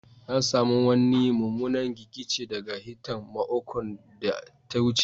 Na samu wanni mumunan gigice daga hitan maokon da ta wuce.